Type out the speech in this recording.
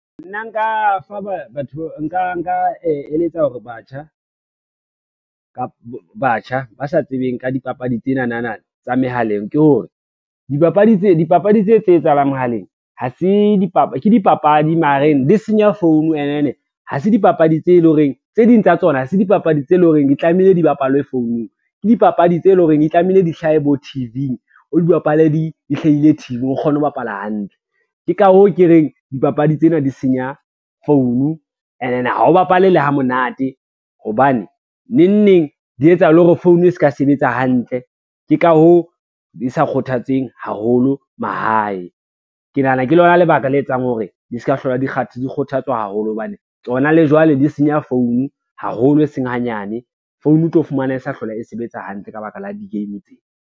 Nna nka fa batho nka eletsa batjha ba sa tsebeng ka dipapadi tsenana tsa mehaleng ke hore, dipapadi tse tse etsahalang mohaleng, ke dipapadi mareng di senya phone and then tse ding tsa tsona ha se dipapadi tse lo reng di tlamehile di bapalwe founung ke dipapadi tse lo reng di tlamehile di hlahe bo T_V-ng, o di bapale di hlahile o kgone ho bapala hantle. Ke ka hoo ke reng dipapadi tsena di senya phone and then ha o bapale le ha monate hobane nengneng di etsa le hore phone e ska sebetsa hantle, ke ka hoo di sa kgothatseng haholo mahae. Ke nahana ke lona lebaka le etsang hore di ska hlola di kgothatswa haholo hobane, tsona le jwale di senya phone haholo e seng hanyane, phone o tlo fumana e sa hlola e sebetsa hantle ka baka la di-game tsena.